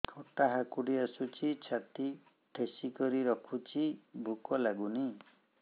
ଖଟା ହାକୁଟି ଆସୁଛି ଛାତି ଠେସିକରି ରଖୁଛି ଭୁକ ଲାଗୁନି